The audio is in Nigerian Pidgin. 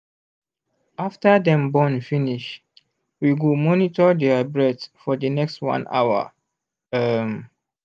after them born finish we go monitor their breath for the next 1 hour um